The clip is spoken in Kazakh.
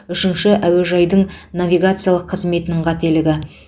үшінші әуежайдың навигациялық қызметінің қателігі